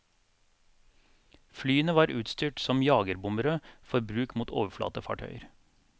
Flyene var utstyrt som jagerbombere for bruk mot overflatefartøyer.